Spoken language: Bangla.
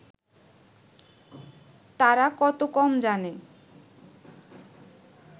তারা কত কম জানে